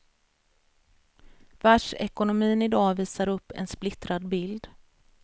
Världsekonomin i dag visar upp en splittrad bild.